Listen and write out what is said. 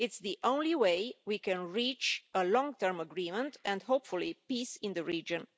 It's the only way we can reach a long term agreement, and hopefully, peace in the region.